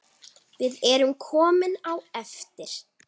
Við erum komin á eftir.